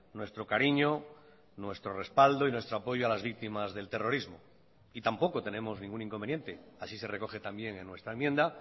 nuestro cariño nuestro respaldo y nuestro apoyo a las víctimas del terrorismo y tampoco tenemos ningún inconveniente así se recoge también en nuestra enmienda